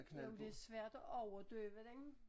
Jo men det er svært at overdøve den